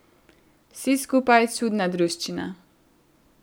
Vsi skupaj čudna druščina.